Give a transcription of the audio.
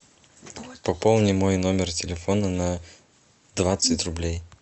пополни мой номер телефона на двадцать рублей